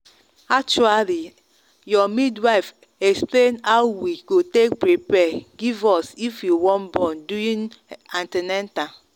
actually your midwife explain how we go take prepare give us if we wan born during an ten atal.